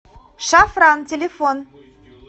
шафран телефон